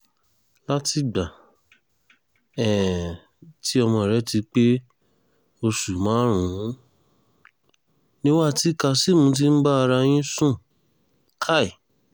látìgbà um tí ọmọ rẹ ti pé oṣù márùn-ún nìwọ àti kazeem ti ń bá ara yín sùn um